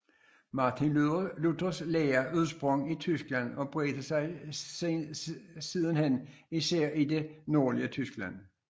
Martin Luthers lære udsprang i Tyskland og bredte sig sidenhen især i det nordlige Tyskland